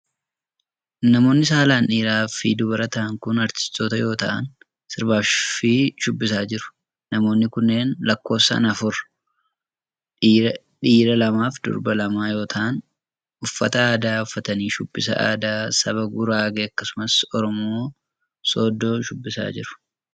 Namoonni saalan dhiiraa fi dubara ta'an kun aartistoota yoo ta'an ,sirbaa fi shubbisaa jiru. Namoonni kunneen lakkoofsaan afur dhiira lamaa fi dubara lama yoo ta'an, uffata aadaa uffatanii shubbisa aadaa saba Guraagee akkasumas Oromoo Sooddoo shubbisaa jiru.